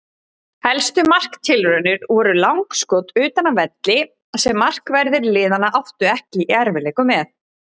Helstu marktilraunir voru langskot utan af velli sem markverðir liðanna áttu ekki í erfiðleikum með.